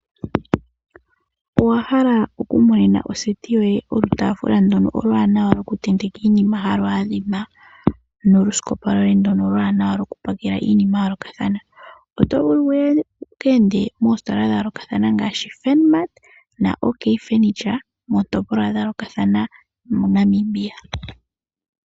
Owa hala oku monena oseti yoye okataafula ndono okawanawa koku tenteka iinima yoye haka adhima nokasikopa koye hono okawanawa koku pakela iinima ya yoolokathana? Oto vulu wuye wuka ende moositola dha yoolokathana ngaashi Funmart na Ok furniture miitopolwa ya yoolokathana moNamibia.